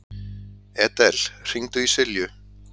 Edel, hringdu í Silju.